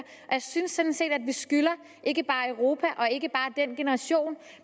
jeg synes sådan set at vi skylder ikke bare europa og ikke bare den generation